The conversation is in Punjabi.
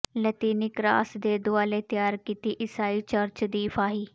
ਲਾਤੀਨੀ ਕ੍ਰਾਸ ਦੇ ਦੁਆਲੇ ਤਿਆਰ ਕੀਤੀ ਈਸਾਈ ਚਰਚ ਦੀ ਫਾਹੀ